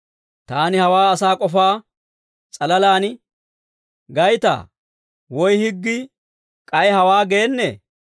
Taani hawaa asaa k'ofaa s'alalaan gaytaa? Woy higgii k'ay hawaa geennee?